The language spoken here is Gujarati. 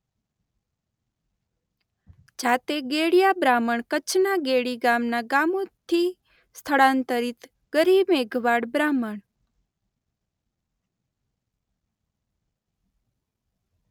જાતે ગેડિયા બ્રાહ્મણ કચ્છના ગેડી નામના ગામેથી સ્થળાંતરિત ગરો-મેઘવાળ-બ્રાહ્મણ .